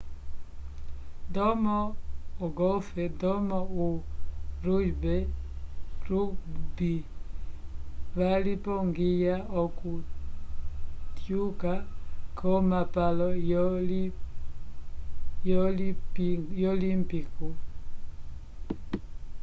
ndomo ogolf ndomo o rugby valipongiya oku tyuka ko mapalo yo limpico